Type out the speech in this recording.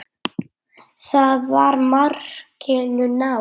Þá var markinu náð.